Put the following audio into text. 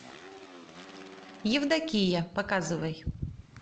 евдокия показывай